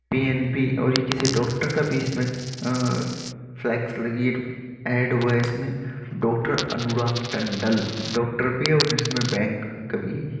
PNB. और यह किसी डॉक्टर का भी इसमें फलैक्स लगी हुई ऐड हुवा है इसमें डॉक्टर अनुराग टंडल डॉक्टर भी और इसमें बैंक भी है।